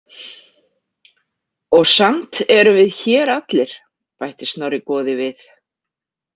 Og samt erum við hér allir, bætti Snorri goði við.